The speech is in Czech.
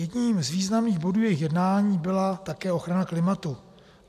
Jedním z významných bodů jejich jednání byla také ochrana klimatu.